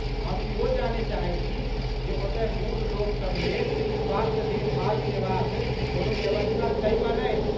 हम इहो जानय चाहैत छी जे ओतय बूढ़ लोकसभ लेल स्वास्थ्य देखभाल सेवाक कोनो व्यवस्था छै वा नहि?